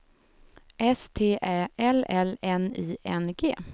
S T Ä L L N I N G